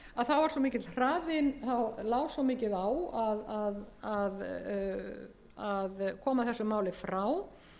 og ég nefndi áðan þá lá svo mikið á að koma þessu máli frá